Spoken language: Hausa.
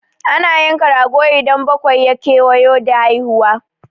Ana yanka rago idan bakwai ya kewayo da haihuwa.